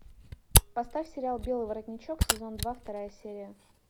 поставь сериал белый воротничок сезон два вторая серия